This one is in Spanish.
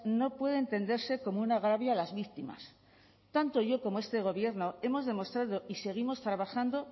no puede entenderse como un agravio a las víctimas tanto yo como este gobierno hemos demostrado y seguimos trabajando